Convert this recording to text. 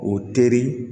O teri